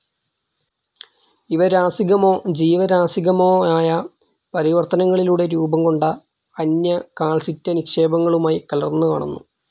ഇവ രാസികമോ ജീവരാസികമോയായ പരിവർത്തനങ്ങളിലൂടെ രൂപംകൊണ്ട അന്യ കാൽസൈറ്റ്‌ നിക്ഷേപങ്ങളുമായി കലർന്നുകാണുന്നു.